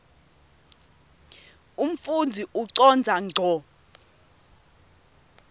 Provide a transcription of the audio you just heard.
umfundzi ucondza ngco